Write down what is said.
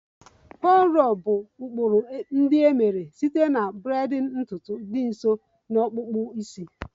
Cornrows bụ ụkpụrụ ndị e mere site na braiding ntutu dị nso na akpụkpọ isi.